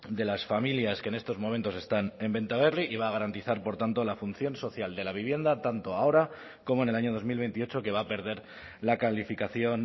de las familias que en estos momentos están en bentaberri y va a garantizar por tanto la función social de la vivienda tanto ahora como en el año dos mil veintiocho que va a perder la calificación